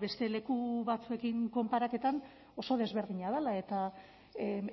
beste leku batzuekin konparaketan oso desberdina dela eta